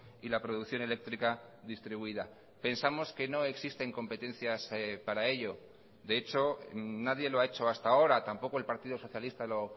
y la producción eléctrica distribuida pensamos que no existen competencias para ello de hecho nadie lo ha hecho hasta ahora tampoco el partido socialista lo